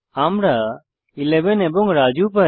আমরা 11 এবং রাজু পাই